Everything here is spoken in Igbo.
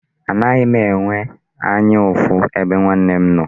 Agaghị m enwe anya ụfụ ebe nwanne m nọ.